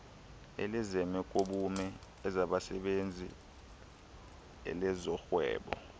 elezemekobume elezabasebenzi elezorhwebo